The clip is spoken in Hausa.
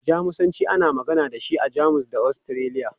Jamusanci, ana magana da shi a Jamus da Ostiriya.